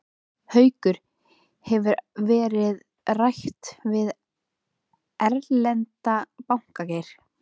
Haukur: Hefur ekkert verið rætt við erlenda banka, Geir?